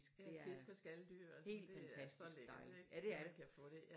Ja fisk og skaldyr og sådan det er så lækkert ik når man kan få det